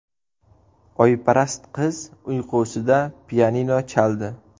Oyparast qiz uyqusida pianino chaldi .